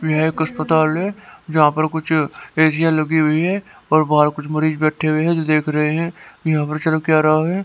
यह एक अस्पताल है यहां पर कुछ ऐसीयां लगी हुई हैं और बाहर कुछ मरीज बैठे हुए हैं जो देख रहे हैं यहां पर चल क्या रहा है।